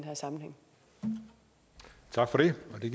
man